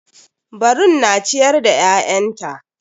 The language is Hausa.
Barun na ciyar da ƴaƴanta.